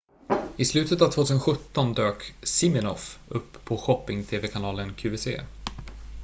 i slutet av 2017 dök siminoff upp på shopping-tv-kanalen qvc